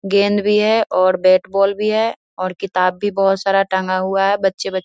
गेंद भी है और बेट बॉल भी है और किताब भी बहोत सारा टांगा हुआ और बच्चे ब --